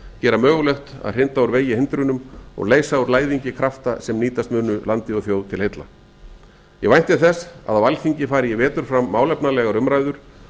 gera mögulegt að hrinda úr vegi hindrunum og leysa úr læðingi krafta sem nýtast munu landi og þjóð til heilla ég vænti þess að á alþingi fari í vetur fram málefnalegar umræður